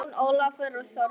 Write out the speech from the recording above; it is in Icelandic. Jón Ólafur og Þórdís.